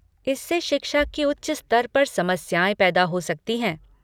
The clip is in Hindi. इससे शिक्षा के उच्च स्तर पर समस्याएँ पैदा हो सकती हैं।